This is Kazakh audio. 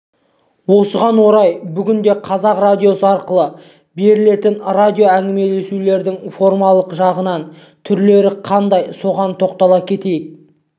осыған орай бүгінде қазақ радиосы арқылы берілетін радио әңгімелесулердің формалық жағынан түрлері қандай соған тоқтала кетейік